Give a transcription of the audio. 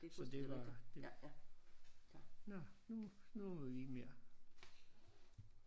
Så det var det nåh nu nu må vi ikke mere